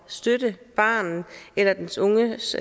støtte barnet eller den unges